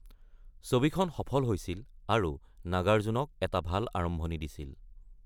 ছবিখন সফল হৈছিল, আৰু নাগাৰ্জুনক এটা ভাল আৰম্ভণি দিছিল।